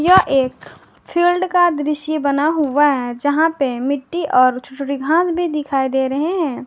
यह एक फील्ड का दृश्य बना हुआ है जहां पे मिट्टी और छोटी छोटी घास भी दिखाई दे रहे हैं।